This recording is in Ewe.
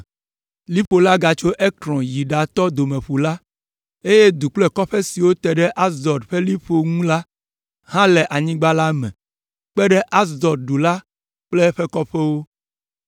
Liƒo la gatso Ekron yi ɖatɔ Domeƒu la, eye du kple kɔƒe siwo te ɖe Asdod ƒe liƒo ŋu la hã le anyigba la me kpe ɖe Asdod du la kple eƒe kɔƒewo,